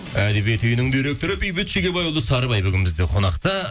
әдебиет үйінің директоры бейбіт шегебайұлы сарыбай бүгін бізде қонақта